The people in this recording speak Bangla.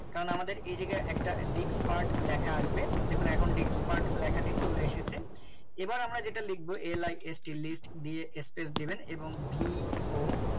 কারণ আমাদের এই জায়গায় একটা dixpart লেখা আসবে দেখুন এখন dixpart লেখাটি চলে এসেছে এবার আমরা যেটা লিখব list দিয়ে Space দিবেন এবং vo